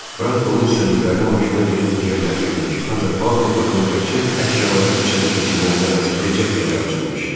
Frank bunun istədiklərini maşına yığıb evə gətirirmiş, ancaq Paula qapını təkcə əşyaları içəri keçirməyinə bəs edəcək qədər açırmış.